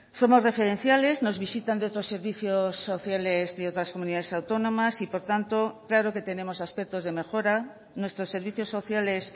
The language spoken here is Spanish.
somos referenciales nos visitan de otros servicios sociales de otras comunidades autónomas y por tanto claro que tenemos aspectos de mejora nuestros servicios sociales